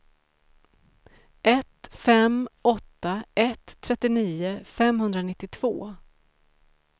ett fem åtta ett trettionio femhundranittiotvå